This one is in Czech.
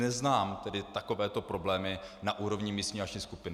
Neznám tedy takovéto problémy na úrovni místní akční skupiny.